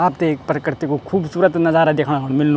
आपते एक प्रकृति कु खुबसूरत नजारा देखणा कुन मिल्नु।